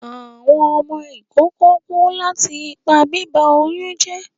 Awọn ọmọ ikoko ku lati ipa biba oyun jẹ